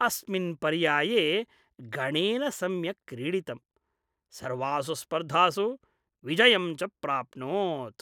अस्मिन् पर्याये गणेन सम्यक् क्रीडितम् । सर्वासु स्पर्धासु विजयं च प्राप्नोत्।